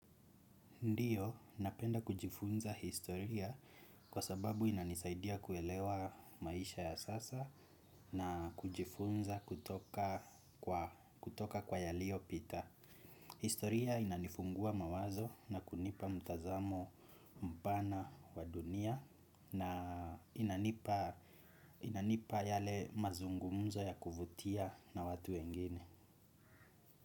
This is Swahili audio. Ndiyo, napenda kujifunza historia kwa sababu inanisaidia kuelewa maisha ya sasa na kujifunza kutoka kwa yalio pita. Historia inanifungua mawazo na kunipa mtazamo mbana wa dunia. Inanipa yale mazungumzo ya kuvutia na watu wengine.